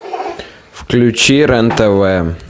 включи рен тв